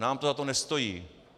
Nám to za to nestojí.